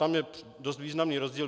Tam je dost významný rozdíl.